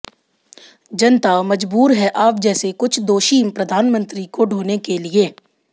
जनता मजबूर है आप जैसे कुछ दोषी प्रधानमंत्री को ढ़ोने के लिए